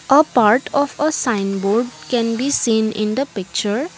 a part of a sign board can be seen in the picture.